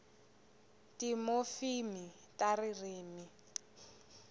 timofimi ta ririmi